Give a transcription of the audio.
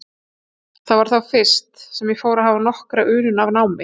Það var þá fyrst, sem ég fór að hafa nokkra unun af námi.